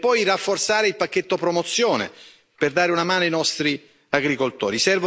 E poi è necessario rafforzare il pacchetto promozione per dare una mano ai nostri agricoltori.